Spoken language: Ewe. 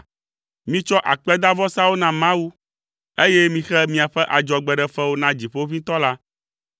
“Mitsɔ akpedavɔsawo na Mawu, eye mixe miaƒe adzɔgbeɖefewo na Dziƒoʋĩtɔ la.